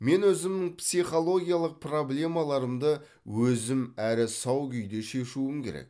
мен өзімнің психологиялық проблемаларымды өзім әрі сау күйде шешуім керек